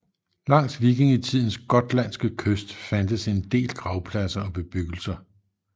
Langs vikingtidens gotlandske kyst fandtes en del gravpladser og bebyggelser